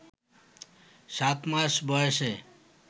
সাত মাস বয়সে